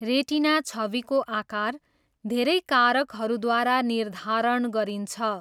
Retina छविको आकार धेरै कारकहरूद्वारा निर्धारण गरिन्छ।